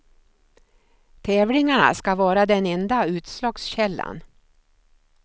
Tävlingarna skall vara den enda utslagskällan.